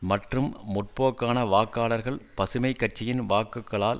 மற்றும் முற்போக்கான வாக்காளர்கள் பசுமை கட்சியின் வாக்குகளால்